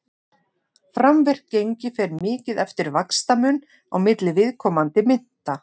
framvirkt gengi fer mikið eftir vaxtamun á milli viðkomandi mynta